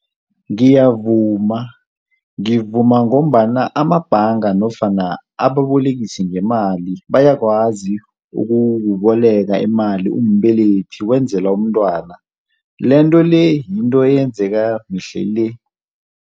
Ngiyavuma, ngivuma ngombana amabhanga nofana ababolekisi ngemali bayakwazi ukukuboleka imali umbelethi wenzela umntwana. Into-le, yinto eyenzeka mihla le.